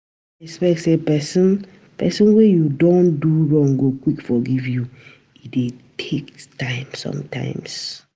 No expect sey person person wey you don do wrong go quick forgive you, e dey take time sometimes